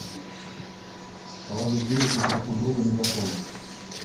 положить денег на телефон друга мегафон